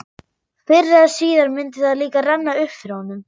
Fyrr eða síðar myndi það líka renna upp fyrir honum.